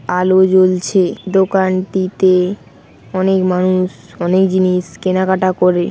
আলো জ্বলছে দোকানটি-তে অনেক মানুষ অনেক জিনিস কেনাকাটা করে।